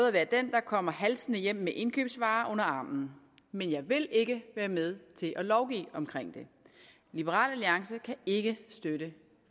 at være den der kommer halsende hjem med indkøbsvarer under armen men jeg vil ikke være med til at lovgive om det liberal alliance kan ikke støtte